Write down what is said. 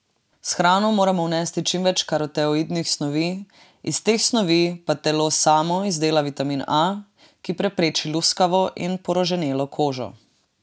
S hrano moramo vnesti čim več karotenoidnih snovi, iz teh snovi pa telo samo izdela vitamin A, ki prepreči luskavo in poroženelo kožo.